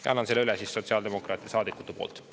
Ja annan selle üle siis sotsiaaldemokraatide saadikute poolt.